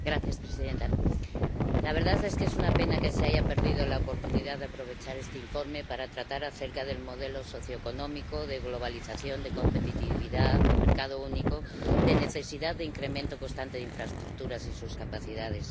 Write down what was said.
Señora presidenta, la verdad es que es una pena que se haya perdido la oportunidad de aprovechar este informe para tratar acerca del modelo socioeconómico, de globalización, de competitividad, de mercado único, de necesidad de incremento constante de infraestructuras y sus capacidades.